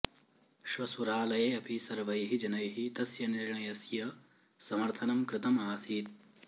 श्वसुरालये अपि सर्वैः जनैः तस्य निर्णयस्य समर्थनं कृतम् आसीत्